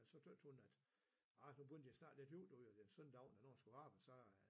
Så tøt hun at ah nu begyndte det snart der 7 søndag aften hvor hun skulle arbejde så øh